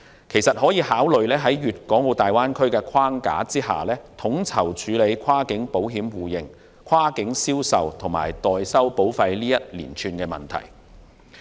其實，政府可以考慮在大灣區的框架下，統籌處理跨境保險互認、跨境銷售及代收保費等問題。